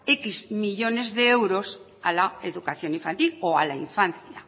décimo millónes de euros a la educación infantil o a la infancia